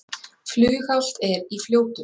Flughált er í Fljótum